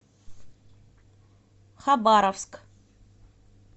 хабаровск